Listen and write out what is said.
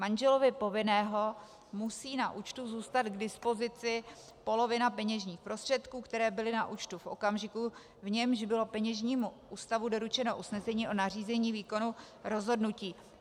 Manželovi povinného musí na účtu zůstat k dispozici polovina peněžních prostředků, které byly na účtu v okamžiku, v němž bylo peněžnímu ústavu doručeno usnesení o nařízení výkonu rozhodnutí.